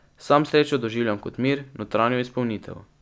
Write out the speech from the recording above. Sam srečo doživljam kot mir, notranjo izpolnitev.